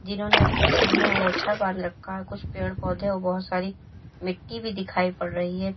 जिन्होंने अपने सिर में अंगोछा बांध रखा है कुछ पेड़ पौधे और बहोत सारी मिट्टी भी दिखाई पड़ रही है।